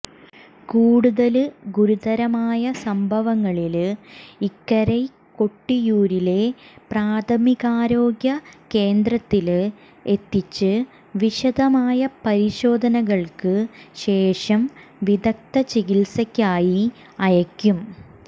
കൂടുതല് ഗുരുതരമായ സംഭവങ്ങളില് ഇക്കരെ കൊട്ടിയൂരിലെ പ്രാഥമികാരോഗ്യ കേന്ദ്രത്തില് എത്തിച്ച് വിശദമായ പരിശോധനകള്ക്ക് ശേഷം വിദഗ്ദ ചികിത്സയ്ക്കായി അയയ്ക്കും